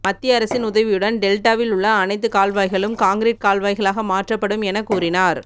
மத்திய அரசின் உதவியுடன் டெல்டாவில் உள்ள அனைத்து கால்வாய்களும் கான்கிரீட் கால்வாய்களாக மாற்றப்படும் என கூறினார்